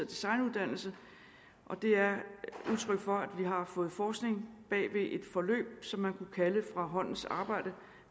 designuddannelse det er udtryk for at vi har fået forskning bag et forløb som man kunne kalde fra håndens arbejde